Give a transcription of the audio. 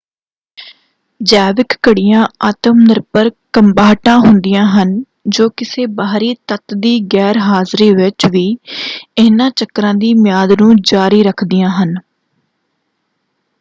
ਜੈਵਿਕ ਘੜੀਆਂ ਆਤਮ ਨਿਰਭਰ ਕੰਬਾਹਟਾਂ ਹੁੰਦੀਆਂ ਹਨ ਜੋ ਕਿਸੇ ਬਾਹਰੀ ਤੱਤ ਦੀ ਗੈਰ-ਹਾਜ਼ਰੀ ਵਿੱਚ ਵੀ ਇਹਨਾਂ ਚੱਕਰਾਂ ਦੀ ਮਿਆਦ ਨੂੰ ਜਾਰੀ ਰੱਖਦੀਆਂ ਹਨ।